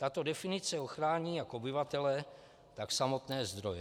Tato definice ochrání jak obyvatele, tak samotné zdroje.